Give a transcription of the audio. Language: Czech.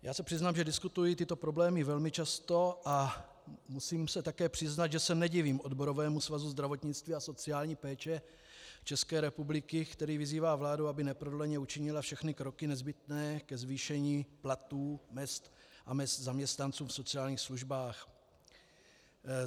Já se přiznám, že diskutuji tyto problémy velmi často, a musím se také přiznat, že se nedivím Odborovému svazu zdravotnictví a sociální péče České republiky, který vyzývá vládu, aby neprodleně učinila všechny kroky nezbytné ke zvýšení platů, mezd a mezd zaměstnanců v sociálních službách.